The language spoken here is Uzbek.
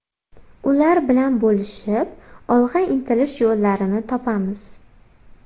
Ular bilan bo‘lishib, olg‘a intilish yo‘llarini topamiz.